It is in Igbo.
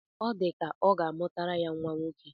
Ọ dị ka ọ ga-amụtara ya nnwa nwoke